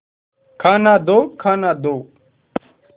खाना दो खाना दो